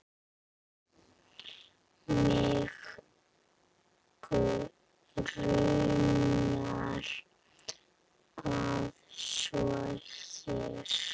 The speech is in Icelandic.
Mig grunar að svo sé.